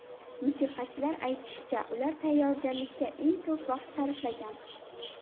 Musiqachilar aytishicha, ular tayyorgarlikka eng ko‘p vaqt sarflagan.